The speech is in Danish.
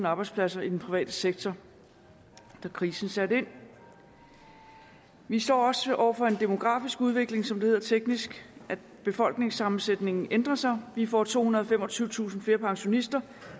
arbejdspladser i den private sektor da krisen satte ind vi står også over for en demografisk udvikling som det hedder teknisk hvor befolkningssammensætningen ændrer sig vi får tohundrede og femogtyvetusind flere pensionister